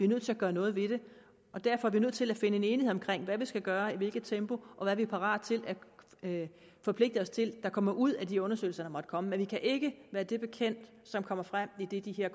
nødt til at gøre noget ved det og derfor er vi nødt til at finde en enighed om hvad vi skal gøre i hvilket tempo og hvad vi er parate til at forpligte os til der kommer ud af de undersøgelser måtte komme men vi kan ikke være det bekendt som kommer frem i det de her